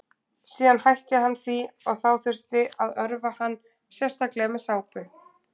síðan hætti hann því og þá þurfti að örva hann sérstaklega með sápu